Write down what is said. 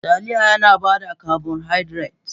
Taliya yana ba da carbohydrate.